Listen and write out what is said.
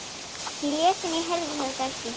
Ég lét sem ég heyrði þetta ekki.